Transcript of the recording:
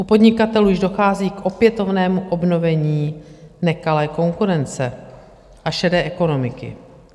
U podnikatelů již dochází k opětovnému obnovení nekalé konkurence a šedé ekonomiky.